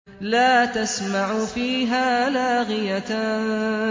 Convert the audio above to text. لَّا تَسْمَعُ فِيهَا لَاغِيَةً